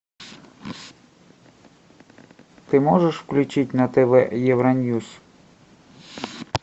ты можешь включить на тв евроньюс